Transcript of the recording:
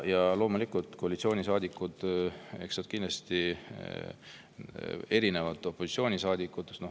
Ja koalitsioonisaadikud kindlasti erinevad opositsioonisaadikutest.